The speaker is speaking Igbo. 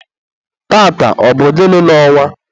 taata, ọ bụ gịnị n'ọnwa?